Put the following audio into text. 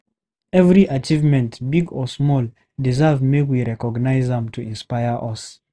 Every achievement, big or small, deserve make we recognize am to inspire us.